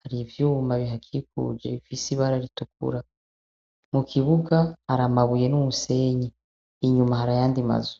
Hari ivyuma bihakikuje bifise ibara ritukura. Mu kibuga hari amabuye n'umusenyi. Inyuma hari ayandi bazu.